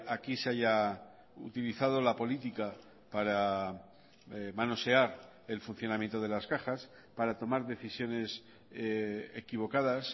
aquí se haya utilizado la política para manosear el funcionamiento de las cajas para tomar decisiones equivocadas